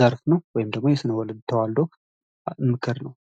ዘርፍ ነው ወይም ደሞ የስንወልን ተዋደ ምክር ነው።